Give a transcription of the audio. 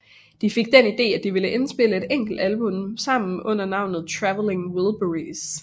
De fik den ide at de ville indspille et enkelt album sammen under navnet Traveling Wilburys